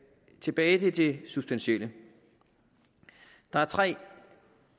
tilbage til det substantielle der er tre